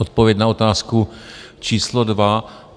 Odpověď na otázku číslo dva.